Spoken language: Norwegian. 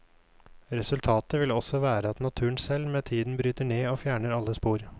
Resultatet vil også være at naturen selv med tiden bryter ned og fjerner alle spor.